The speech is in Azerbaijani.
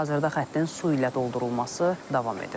Hazırda xəttin su ilə doldurulması davam edir.